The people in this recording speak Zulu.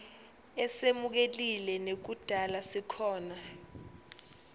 esemukelekile nekudala sikhona